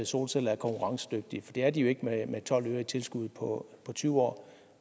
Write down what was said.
solceller er konkurrencedygtige for det er de jo ikke med tolv øre i tilskud på tyve år